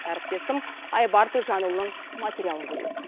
әріптесім айбар төлжанұлының материалын көрейік